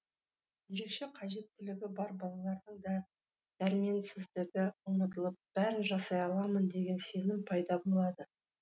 ерекше қажеттілігі бар балалардың дәрменсіздігі ұмытылып бәрін жасай аламын деген сенім пайда болады